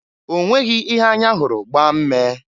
Onweghi ihe anya hụrụ gbaa mmee.